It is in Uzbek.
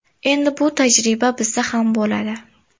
Endi bu tajriba bizda ham bo‘ladi.